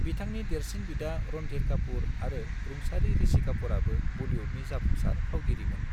बिथांनि देरसिन बिदा रणधीर कापूर आरो रुंसारि ऋषि कापूरआबो बलीउडनि जाफुंसार फावगिरिमोन।